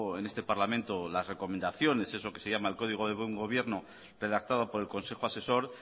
en este parlamento las recomendaciones eso que se llama el código del buen gobierno redactado por el consejo asesor